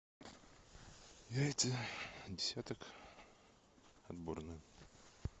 яйца десяток отборные